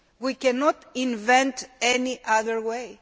We cannot invent any other way.